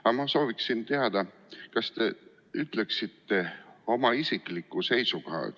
Aga ma sooviksin teada, kas te ütleksite oma isikliku seisukoha.